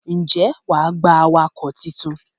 Ǹjẹ́ wà á gba awakọ̀ tuntun?